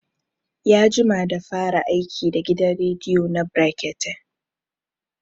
Ya jima da fara aiki da gidan rediyo na brekete